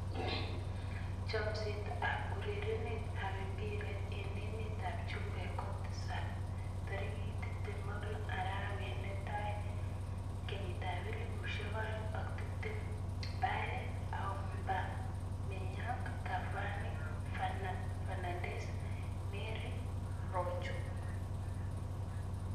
Chomset ab urerenet ab mbiret eng emet ab chumbek kotisap 26.01.2020: Bale, Aubameyang, Cavani, Fernandes, Mari, Rojo